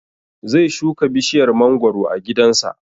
Zai shuka bishiyar mangoro a gidan sa